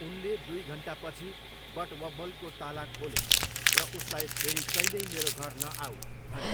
उनले दुई घन्टापछि बटवब्बलको ताला खोले र उसलाई 'फेरि कहिल्यै मेरो घर नआऊ' भने।